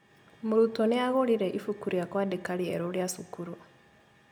Mũrutwo nĩagũrire ibuku ria kwandĩka rĩerũ rĩa cukuru